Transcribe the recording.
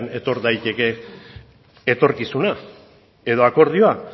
etor daiteke etorkizuna edo akordioa